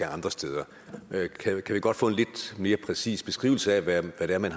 andre steder kan vi godt få en lidt mere præcis beskrivelse af hvad det er man